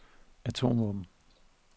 atomvåben